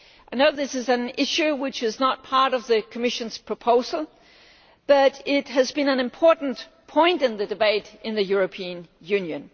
I know this is an issue which is not part of the Commission's proposal, but it has been an important point in the debate in the European Union.